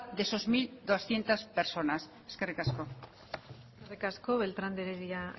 de esas mil doscientos personas eskerrik asko eskerrik asko beltrán de heredia